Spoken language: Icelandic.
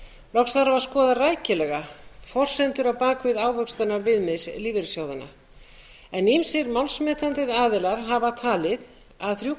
loks þarf að skoða rækilega forsendur á bak við ávöxtunarviðmið lífeyrissjóðanna en yfir málsmetandi aðilar hafa talið að þrjú